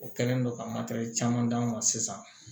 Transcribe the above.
O kɛlen don ka d'anw ma sisan